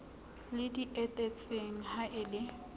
le di etetseng ha le